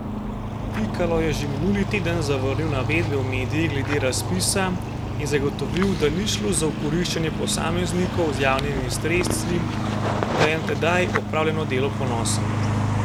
Pikalo je že minuli teden zavrnil navedbe v medijih glede razpisa in zagotovil, da ni šlo za okoriščanje posameznikov z javnimi sredstvi in da je na tedaj opravljeno delo ponosen.